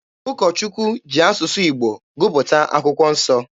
Ụkọ Chukwu ji asụsụ Igbo gụpụta akwụkwọ nsọ.